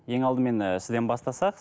ең алдымен ыыы сізден бастасақ